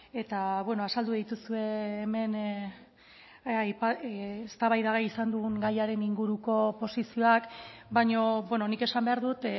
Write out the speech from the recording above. eta azaldu dituzue hemen eztabaidagai izan dugun gaiaren inguruko posizioak baina nik esan behar dut